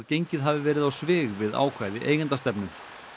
gengið hafi verið á svig við ákvæði eigendastefnu